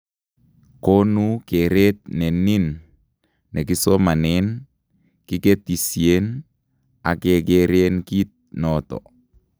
Koonu keeret nenin nekisomanen, kiketisyen, ak kekereen kit noton